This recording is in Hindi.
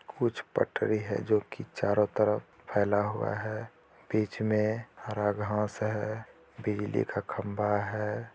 कुछ पटरी है जो कि चारों तरफ फैला हुआ है बीच मे हरा घास है बिजली का खम्बा है।